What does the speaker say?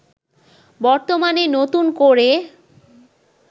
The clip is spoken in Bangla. বর্তমানে নতুন করে